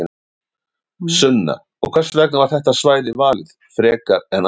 Sunna: Og hvers vegna var þetta svæði valið frekar en annað?